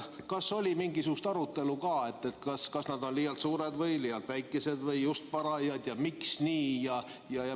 Kas oli mingisugust arutelu, kas nad on liialt suured või liialt väikesed või just parajad ja miks nii?